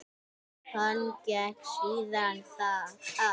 Hann gekk síðan að